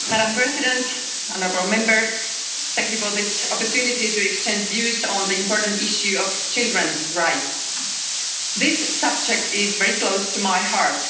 Madam President, honourable Members, thank you for this opportunity to exchange views on the important issue of children's rights. This subject is very close to my heart.